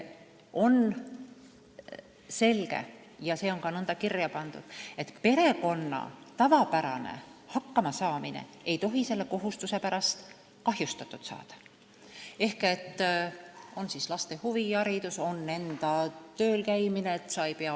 On selge – ja nõnda on ka kirja pandud –, et perekonna tavapärane hakkamasaamine ei tohi selle kohustuse pärast kahjustatud saada, ehk laste huviharidus, enda töölkäimine jms.